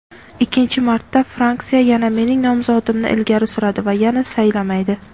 Ikkinchi marta fraksiya yana mening nomzodimni ilgari suradi va yana saylamaydi.